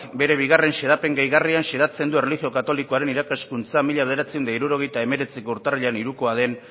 bere bigarren xedapen gehigarrian xedatzen du erlijio katolikoaren irakaskuntza mila bederatziehun eta hirurogeita hemeretziko urtarrilaren hirukoa den